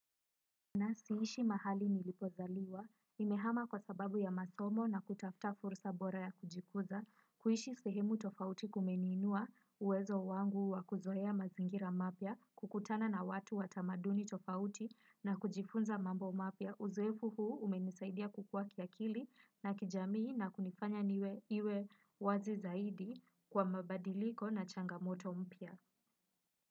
Na siishi mahali nilipozaliwa, nimehama kwa sababu ya masomo na kutafuta fursa bora ya kujikuza, kuishi sehemu tofauti kumeniinua, uwezo wangu wa kuzoea mazingira mapya, kukutana na watu wa tamaduni tofauti na kujifunza mambo mapya. Uzoefu huu umenisaidia kukuwa kiakili na kijamii na kunifanya niwe wazi zaidi kwa mabadiliko na changamoto mpya.